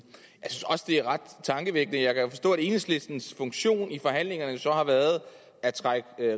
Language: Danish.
også det er ret tankevækkende at enhedslistens funktion i forhandlingerne så har været at trække